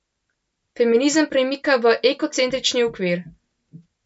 Feminizem premika v ekocentrični okvir.